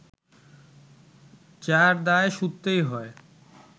যার দায় শুধতেই হয়